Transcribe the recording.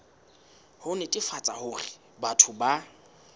ho netefatsa hore batho ba